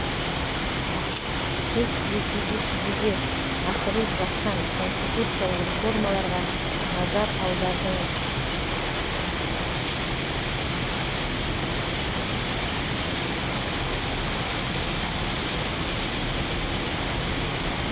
сіз ресейде жүзеге асырылып жатқан конституциялық реформаларға назар аудардыңыз